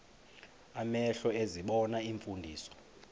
amehlo ezibona iimfundiso